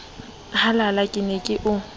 halala ke ne ke o